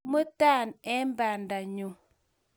Imuta eng bandanyu